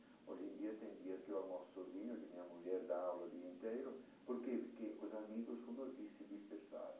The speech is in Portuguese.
Hoje em dia, tem dias que eu almoço sozinho, que minha mulher dá aula o dia inteiro, porque porque os amigos, como eu disse, se dispersaram.